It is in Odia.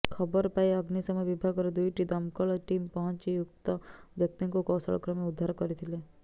ଖବର ପାଇ ଅଗ୍ନିଶମ ବିଭାଗର ଦୁଇଟି ଦମକଳ ଟିମ୍ ପହଞ୍ଚି ଉକ୍ତ ବ୍ୟକ୍ତିଙ୍କୁ କୌଶଳ କ୍ରମେ ଉଦ୍ଧାର କରିଥିଲେ